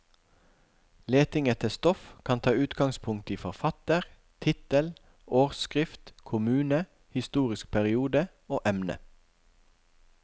Leting etter stoff kan ta utgangspunkt i forfatter, tittel, årsskrift, kommune, historisk periode og emne.